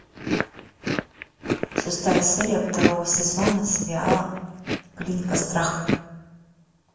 шестая серия второго сезона сериала клиника страха